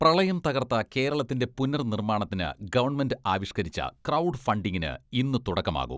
പ്രളയം തകർത്ത കേരളത്തിന്റെ പുനർനിർമ്മാണത്തിന് ഗവൺമെന്റ് ആവിഷ്ക്കരിച്ച് ക്രൗഡ് ഫണ്ടിങ്ങിന് ഇന്ന് തുടക്കമാകും.